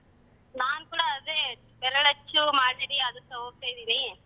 ನಾನ್ ಕೂಡ ಅದೇ ಬೆರಳಚ್ಚು ಮಾದರಿ ಅದಿಕ್ಕ ಹೋಗ್ತಾ ಇದ್ದೀನಿ.